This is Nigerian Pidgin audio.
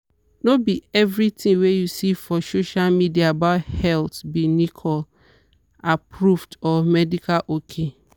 no be every thing wey you see for social media about health be nicole-approved or medical ok.